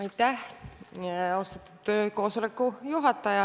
Aitäh, austatud koosoleku juhataja!